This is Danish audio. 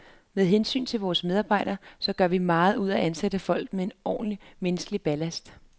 Med hensyn til vores medarbejdere, så gør vi meget ud af at ansætte folk med en ordentlig, menneskelig ballast.